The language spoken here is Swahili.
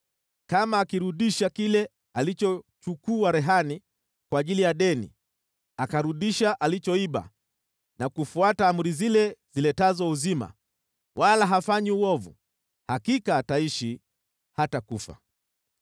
kama akirudisha kile alichochukua rehani kwa ajili ya deni, akarudisha alichoiba na kufuata amri zile ziletazo uzima, wala hafanyi uovu, hakika ataishi, hatakufa.